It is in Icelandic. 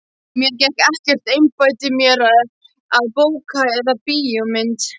Mér gekk ekkert að einbeita mér að bók eða bíómynd.